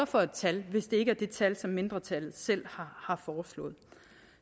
for et tal hvis det ikke er det tal som mindretallet selv har foreslået